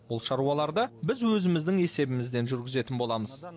бұл шаруаларды біз өзіміздің есебімізден жүргізетін боламыз